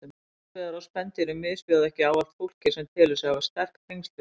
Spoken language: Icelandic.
Skotveiðar á spendýrum misbjóða ekki ávallt fólki sem telur sig hafa sterk tengsl við þau.